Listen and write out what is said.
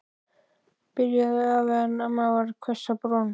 byrjaði afi en amma varð hvöss á brún.